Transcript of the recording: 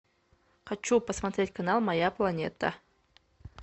хочу посмотреть канал моя планета